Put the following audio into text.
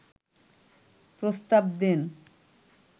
প্রস্তাব দেন